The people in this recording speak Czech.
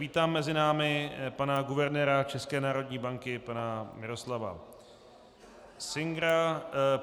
Vítám mezi námi pana guvernéra České národní banky pana Miroslava Singera.